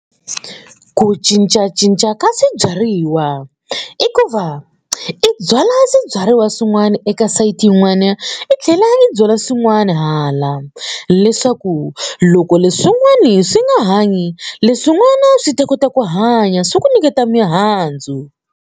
Ku cincacinca ka swibyariwa i ku va i byala swibyariwa swin'wana eka sayiti yin'wana i tlhela i byala swin'wana hala leswaku loko leswin'wani swi nga hanyi leswin'wana swi ta kota ku hanya swi ku nyiketa mihandzu.